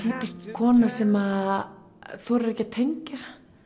kona sem þorir ekki að tengja